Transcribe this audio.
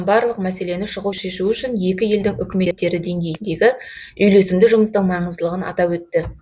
барлық мәселені шұғыл шешу үшін екі елдің үкіметтері деңгейіндегі үйлесімді жұмыстың маңыздылығын атап өтті